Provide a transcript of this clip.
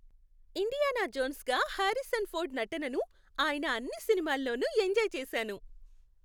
Indiana జోన్స్గా Harrison Ford నటనను ఆయన అన్ని సినిమాల్లోనూ ఎంజాయ్ చేశాను.